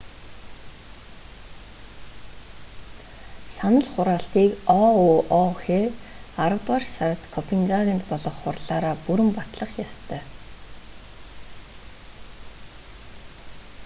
санал хураалтыг оуох аравдугаар сард копенгагенд болох хурлаараа бүрэн батлах ёстой